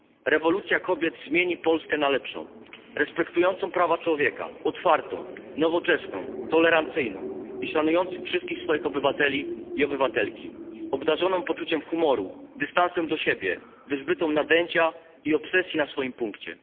Rewolucja kobiet zmieni Polskę na lepszą, respektującą prawa człowieka, otwartą, nowoczesną, tolerancyjną i szanującą wszystkich swoich obywateli i obywatelki, obdarzoną poczuciem humoru, dystansem do siebie, wyzbytą nadęcia i obsesji na swoim punkcie.